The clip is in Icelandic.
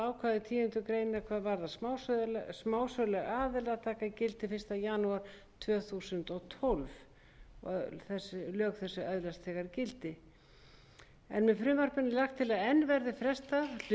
ákvæði tíundu greinar hvað varðar smásöluaðila taka gildi fyrsta janúar tvö þúsund og tólf þessi lög öðlast þegar gildi með frumvarpinu er lagt til að enn verði frestað hluta